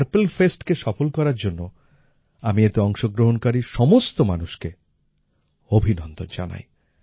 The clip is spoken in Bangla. পার্পল Festকে সফল করার জন্য আমি এতে অংশগ্রহণকারী সমস্ত মানুষকে অভিনন্দন জানাই